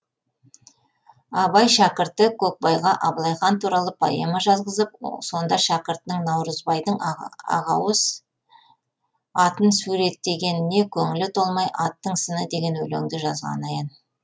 абай шәкірті көкбайға абылай хан туралы поэма жазғызып сонда шәкіртінің наурызбайдың ақауыз атын суреттегеніне көңілі толмай аттың сыны деген өлеңді жазғаны аян